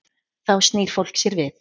Þá snýr fólk sér við.